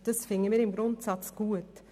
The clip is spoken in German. Dies finden wir im Grundsatz gut.